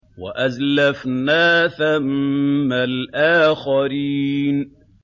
وَأَزْلَفْنَا ثَمَّ الْآخَرِينَ